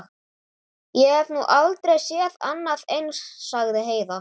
Ég hef nú aldrei séð annað eins, sagði Heiða.